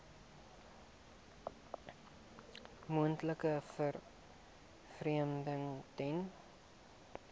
moontlike vervreemding ten